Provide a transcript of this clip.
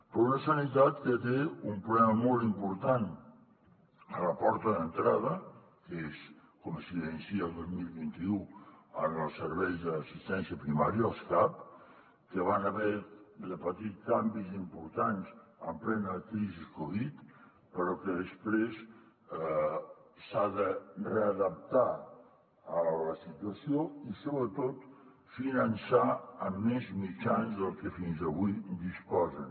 però una sanitat que té un problema molt important a la porta d’entrada que és com s’evidencia el dos mil vint u en els serveis d’assistència primària els cap que van haver de patir canvis importants en plena crisi covid però que després s’han de readaptar a la situació i sobretot finançar amb més mitjans dels que fins avui disposen